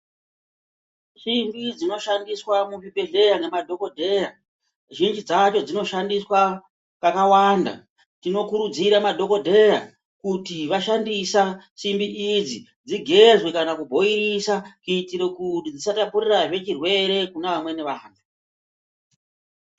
Simbi dzinoshandiswa muzvibhedhlera nemadhokodheya zhinji dzacho dzinoshandiswa pakawanda, tinokurudzira madhokodheya kuti vashandisa simbi idzi dzigezwe kana kubhoilisa kuitire kuti dzisatapurirazve chirwere kune amweni vantu.